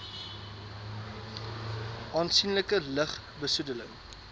aansienlike lug besoedeling